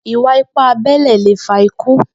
Ìwá ìpá àbẹlé lé fá ikù